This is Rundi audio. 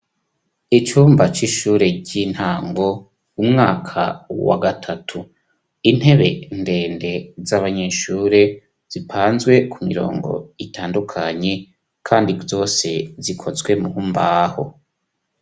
Icumba c'ishure ry'intango umwaka wa gatatu intebe ndende z'abanyeshure zipanzwe ku mirongo itandukanye, kandi zose zikozwe mu mbaho.